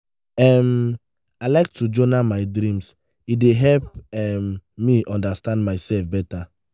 um i like to journal my dreams; e dey help um me understand myself better.